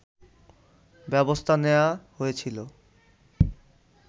ব্যবস্থা নেয়া হয়েছিল